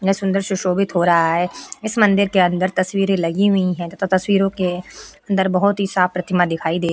इतना सुंदर सुशोभित हो रहा है। इस मंदिर के अंदर तस्वीरे लगी हुई हैं तथा तस्वीरों के अंदर बहुत ही साफ प्रतिमा दिखाई दे --